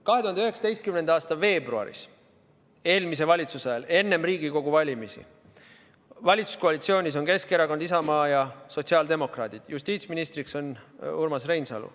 2019. aasta veebruaris, eelmise valitsuse ajal, enne Riigikogu valimisi, on valitsuskoalitsioonis Keskerakond, Isamaa ja sotsiaaldemokraadid, justiitsministriks on Urmas Reinsalu.